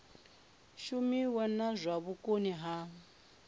shumiwe na zwa vhukoni ha